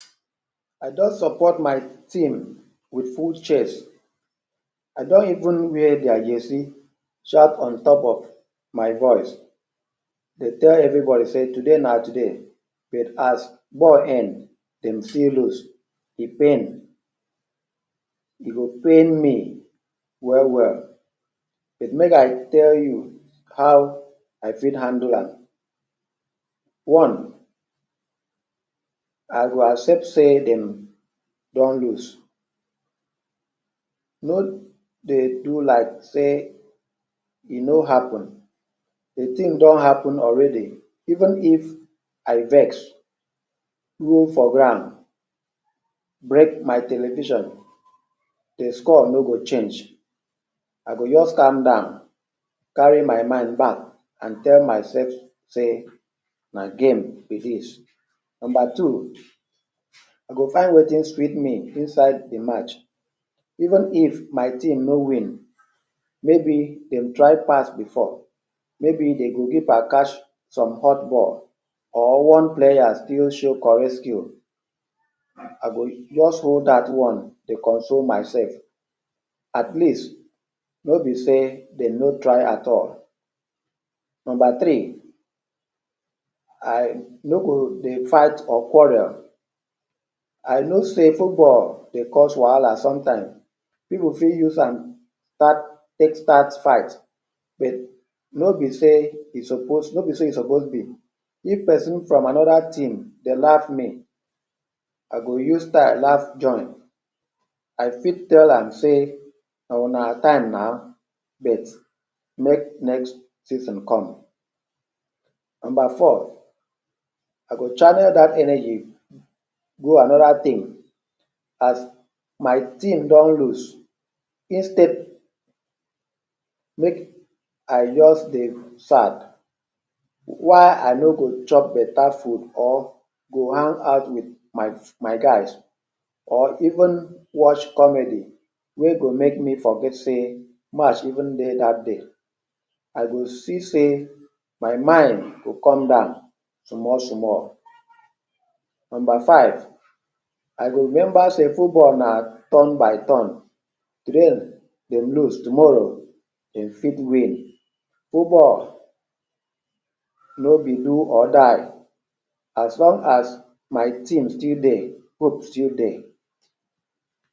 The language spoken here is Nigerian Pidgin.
I don support my team wit full chest, I don even wear their jersey shout on top of my voice to tell everybody sey today na today but as ball end dem still lose. E pain, e go pain me well well but make I tell you how I fit handle am. One, I go accept sey dem don lose, no dey do like sey e no happen. De thing don happen already, even if I vex, roll for ground, break my television; de score no go change. I go just calm down, carry my mind down and tell myself sey na game be dis. Number two, I go find wetin sweet me inside de match. Even if my team no win maybe dem try pass before, maybe de goalkeeper catch some hot ball or one player still show correct skill, I go just hold dat one dey console myself. At least no be sey dem no try at all. Number three, I no go dey fight or quarrel. I know sey football dey cause wahala sometimes, pipu fit use am start take start fight but no be sey e suppose no be sey e suppose be. If person from another team dey laugh me, I go use style laugh join. I fit tell am say, "Na una time na but make next season come". Number four I go channel dat energy go another thing. As my team don lose instead make I just dey sad, why I no go chop better food or go hang out wit my my guys or even watch comedy wey go make me forget sey match even dey dat day. I go see sey my mind go come down small small. Number five, I go remember sey football na turn by turn, today dem lose tomorrow dem fit win. Football no be do or die, as long as my team still dey hope still dey.